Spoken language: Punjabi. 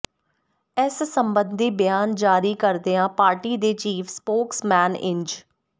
ਇਸ ਸਬੰਧੀ ਬਿਆਨ ਜਾਰੀ ਕਰਦਿਆਂ ਪਾਰਟੀ ਦੇ ਚੀਫ ਸਪੋਕਸਮੈਨ ਇੰਜ